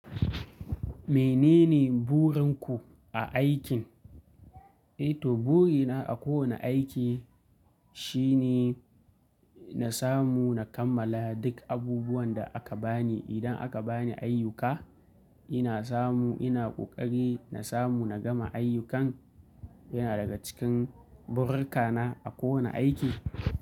Menene burinku a aikin? Eh to, burina a kowane aiki shine na samu na kammala duk abubuwan da aka bani. Idan aka bani ayyuka, ina samu ina ƙoƙari na samu na gama ayyukan yana daga cikin burkana a kowane aiki.